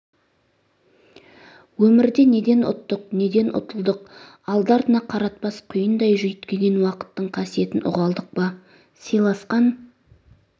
өмірде неден ұттық неден ұтылдық алды артына қаратпас құйындай жүйіткіген уақыттың қасиетін ұға алдық па сыйласқан